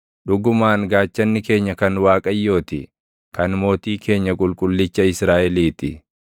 Dhugumaan gaachanni keenya kan Waaqayyoo ti; kan mootii keenya Qulqullicha Israaʼelii ti.